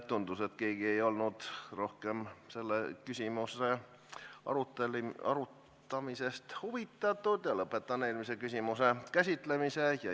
Tundus, et keegi ei olnud rohkem selle küsimuse arutamisest huvitatud, ja lõpetame eelmise küsimuse käsitlemise.